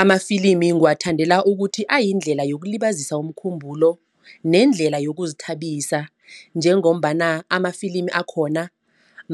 Amafilimi ngiwathandela ukuthi ayindlela yokulibazisa umkhumbulo nendlela yokuzithabisa. Njengombana amafilimi akhona